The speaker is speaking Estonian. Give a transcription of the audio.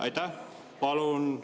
Aitäh!